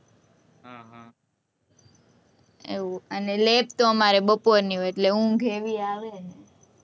એવું અને lab તો અમારે બપોરની હોય, એટલે ઊંઘ એવી આવે.